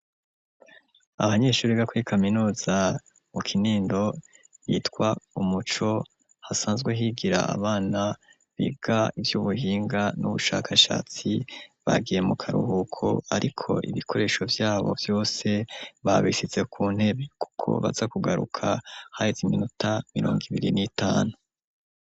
Abanyeshuri gakuri kaminuza mu Kinindo bitwa Umuco hasanzwe higira abana biga ivy'ubuhinga n'ubushakashatsi bagiye mu karuhuko ariko ibikoresho vyabo vyose babisize ku ntebe kuko baza kugaruka haheze iminota mirongo ibiri n'itanu.